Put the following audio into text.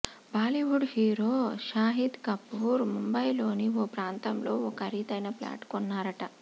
Bollywood hero Shahid Kapoor ముంబైలోని ఓ ప్రాంతంలో ఓ ఖరీదైన ప్లాటు కొన్నారట